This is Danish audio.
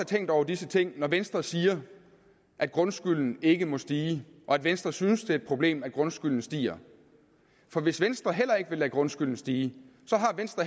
tænkt over disse ting når venstre siger at grundskylden ikke må stige og at venstre synes det er et problem at grundskylden stiger for hvis venstre heller ikke vil lade grundskylden stige